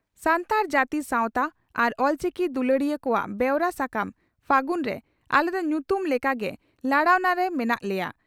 ᱾ᱥᱟᱱᱛᱟᱲ ᱡᱟᱹᱛᱤ ᱥᱟᱣᱛᱟ ᱟᱨ ᱚᱞᱪᱤᱠᱤ ᱫᱩᱞᱟᱹᱲᱤᱭᱟᱹ ᱠᱚᱣᱟᱜ ᱵᱮᱣᱨᱟ ᱥᱟᱠᱟᱢ 'ᱯᱷᱟᱹᱜᱩᱱ' ᱨᱮ ᱟᱞᱮ ᱫᱚ ᱧᱩᱛᱩᱢ ᱞᱮᱠᱟ ᱜᱮ ᱞᱟᱲᱟᱣᱱᱟ ᱨᱮ ᱢᱮᱱᱟᱜ ᱞᱮᱭᱟ ᱾